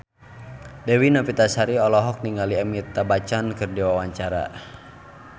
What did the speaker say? Dewi Novitasari olohok ningali Amitabh Bachchan keur diwawancara